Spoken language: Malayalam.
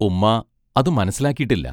ഉമ്മാ അതു മനസ്സിലാക്കീട്ടില്ല.